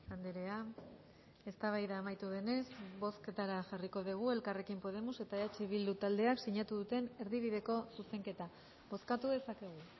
andrea eztabaida amaitu denez bozketara jarriko dugu elkarrekin podemos eta eh bildu taldeak sinatu duten erdibideko zuzenketa bozkatu dezakegu